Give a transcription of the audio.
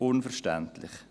– Unverständlich.